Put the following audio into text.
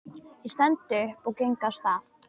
Ég stend upp og geng af stað.